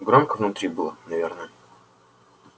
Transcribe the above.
громко внутри было наверное